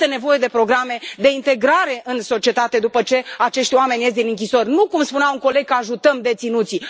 Și este nevoie de programe de integrare în societate după ce acești oameni ies din închisori, nu, cum spunea un coleg, că ajutăm deținuții.